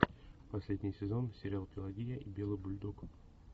последний сезон сериал пелагия и белый бульдог